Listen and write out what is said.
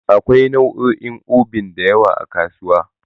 Akwai nau'o'in Obin da yawa a kasuwa.